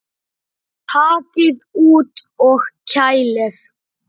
Takið út og kælið.